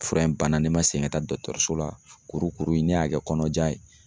Fura in banna ne ma segin ka taa so la kurukuru ne y'a kɛ kɔnɔja ye.